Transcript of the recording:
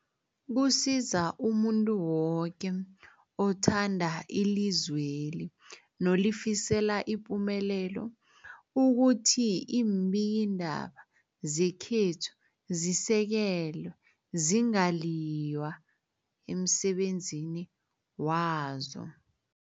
Kusiza umuntu woke othanda ilizweli nolifisela ipumelelo ukuthi iimbikiindaba zekhethu zisekelwe, zingaliywa emsebenzini wazo.